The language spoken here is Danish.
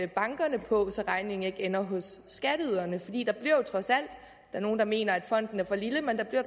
bankerne på så regningen ikke ender hos skatteyderne der er nogle der mener at fonden er for lille men der bliver